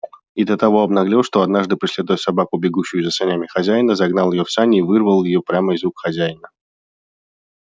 и до того обнаглел что однажды преследуя собаку бегущую за санями хозяина загнал её в сани и вырвал её прямо из рук хозяина